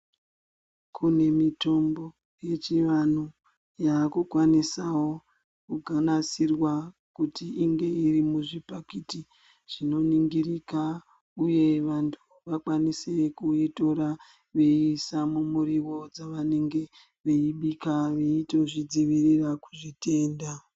Kune mitombo yechivantu yakukwanusawo kunasirwa kuti inge iri muzvipakiti Zvinoningirika uye vantu vakwanise kuitora veisankumuriwo zvavanenge veibika veizvidzivurira zvitenda.